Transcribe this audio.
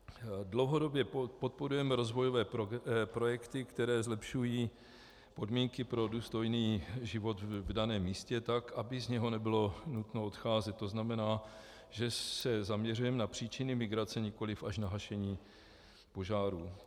Dlouhodobě podporujeme rozvojové projekty, které zlepšují podmínky pro důstojný život v daném místě tak, aby z něho nebylo nutno odcházet, to znamená, že se zaměřujeme na příčiny migrace, nikoliv až na hašení požárů.